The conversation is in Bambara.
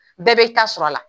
Bɛɛ be i ta sɔrɔ a la.